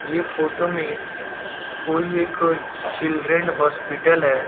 ये फोटो में कोई एक चिल्ड्रन हॉस्पिटल है।